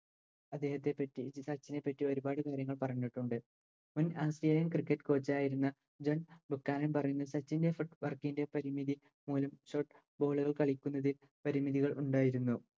അദ്ദേഹത്തെ പറ്റി ഇ സച്ചിനെ പറ്റി ഒരുപാട് കാര്യങ്ങൾ പറഞ്ഞിട്ടുണ്ട് മുൻ Autralian cricket coach ആയിരുന്ന പറയുന്ന സച്ചിൻറെ എഫേ Work ൻറെ പരിമിതി മൂലം Short bowler കളിക്കുന്നത് പരിമിതികൾ ഉണ്ടായിരുന്നു